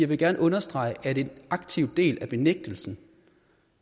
vil gerne understrege at en aktiv del af benægtelsen